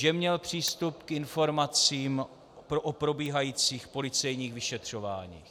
Že měl přístup k informacím o probíhajících policejních vyšetřováních.